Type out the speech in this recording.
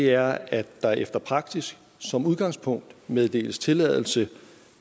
er at der efter prasis som udgangspunkt meddeles tilladelse